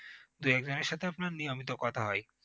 দু একজনের সাথে আপনার নিয়মিত কথা হয়